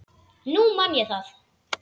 Nú man ég það!